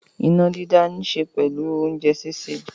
Iná dídá níṣe pẹ̀lú oúnjẹ sísè.